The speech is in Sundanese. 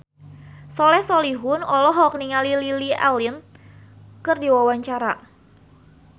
Soleh Solihun olohok ningali Lily Allen keur diwawancara